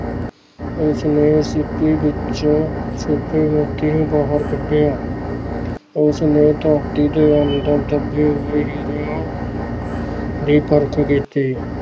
ਉਸਨੇ ਸਿੱਪੀ ਵਿੱਚੋਂ ਛੁੱਪੇ ਮੋਤੀ ਨੂੰ ਬਾਹਰ ਕੱਢਿਆ ਉਸਨੇ ਧਰਤੀ ਦੇ ਅੰਦਰ ਦੱਬੇ ਹੋਏ ਹੀਰਿਆਂ ਦੀ ਪਰਖ ਕੀਤੀ।